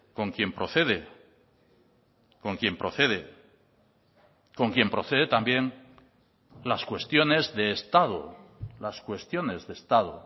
con quien procede con quien procede con quien procede también las cuestiones de estado las cuestiones de estado